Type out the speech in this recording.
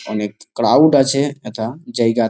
অনেক ক্রাউড আছে হেথা জায়গা।